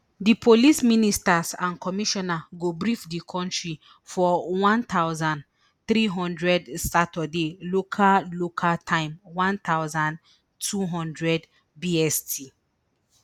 di police ministers and commissioner go brief di kontri for one thousand, three hundred saturday local local time one thousand, two hundred bst